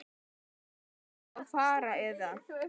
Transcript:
Á ég þá að fara. eða?